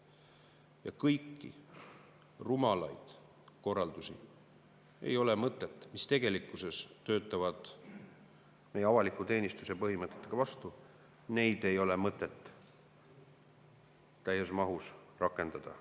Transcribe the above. Ja kõiki rumalaid korraldusi, mis tegelikkuses töötavad meie avaliku teenistuse põhimõtetele vastu, ei ole mõtet täies mahus rakendada.